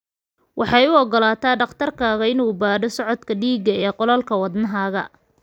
Waxay u ogolaataa dhakhtarkaaga inuu baadho socodka dhiigga ee qolalka wadnahaaga.